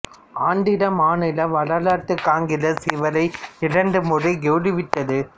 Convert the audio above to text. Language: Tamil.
ஆந்திர மாநில வரலாற்று காங்கிரசு இவரை இரண்டு முறை கௌரவித்தது